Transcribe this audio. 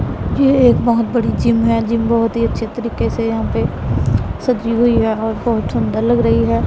ये एक बहुत बड़ी जिम है जिम बहोत ही अच्छे तरीके से यहां पे सजी हुई है और बहोत सुंदर लग रही है।